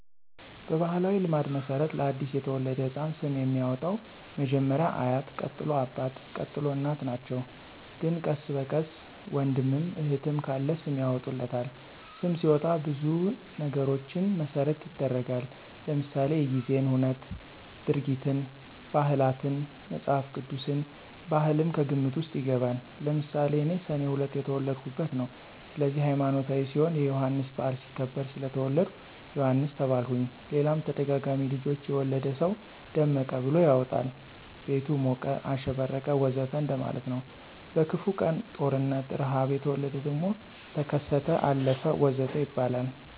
በባሕላዊ ልማድ መሠረት ለ አዲስ የተወለደ ሕፃን ስም የሚያወጣዉ መጀመሪያ አያት ቀጥሎ አባት፣ ቀጥሎ እናት ናቸው ግን ቀስ በቀስ ወንድምም እህትም ካለ ስም ያወጡለታል። ስም ሲወጣ ብዙ ነገሮችን መሰረት ይደረጋል ለምሳሌ:-የጊዜን ሁነት፣ ድርጊትን፣ ባህላትን፣ መፅሐፍ ቅዱስን፣ ባህልም ከግምት ውስጥ ይገባል። ለምሳሌ እኔ ሰኔ 2 የተወለድሁበት ነው ስለዚህ ሀይማኖታዊ ሲሆን የዮሐንስ በዓል ሲከበር ስለተወለድሁ ዮሐንስ ተባልሁኝ ሌላም ተደጋጋሚ ልጆች የወለደ ሰው ደመቀ ብሎ ያወጣል ቤቱ ሞቀ፣ አሸበረቀ ወዘተ እንደማለት ነው። በክፉ ቀን(ጦርነት፣ ርሐብ) የተወለደ ደግሞ ተከሰተ፣ አለፈ ወዘተ ይባላል